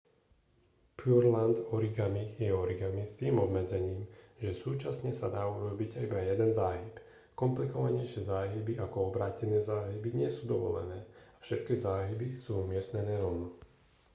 pureland origami je origami s tým obmedzením že súčasne sa dá urobiť iba jeden záhyb komplikovanejšie záhyby ako obrátené záhyby nie sú dovolené a všetky záhyby sú umiestnené rovno